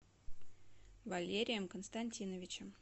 валерием константиновичем